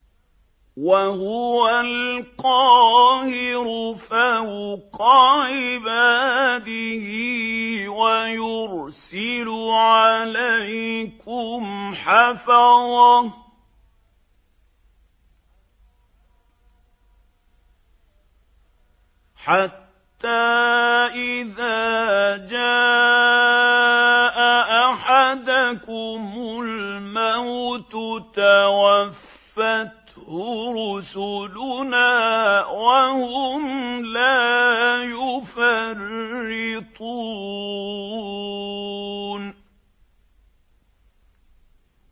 وَهُوَ الْقَاهِرُ فَوْقَ عِبَادِهِ ۖ وَيُرْسِلُ عَلَيْكُمْ حَفَظَةً حَتَّىٰ إِذَا جَاءَ أَحَدَكُمُ الْمَوْتُ تَوَفَّتْهُ رُسُلُنَا وَهُمْ لَا يُفَرِّطُونَ